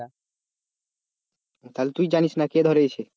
তাহলে তুই জানিস না কে ধরিয়েছে,